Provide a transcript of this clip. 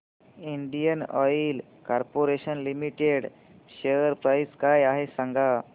Indian Oil Corporation Limited share price काय आहे सांगा